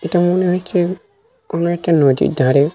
এটা মনে হচ্ছে কোনো একটা নদীর ধারে।